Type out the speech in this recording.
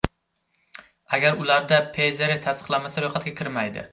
Agar ularda PZR tasdiqlanmasa, ro‘yxatga kirmaydi.